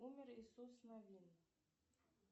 умер иисус навин